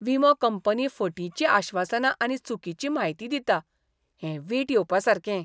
विमो कंपनी फटींची आश्वासनां आनी चुकीची म्हायती दिता, हें वीट येवपासारकें.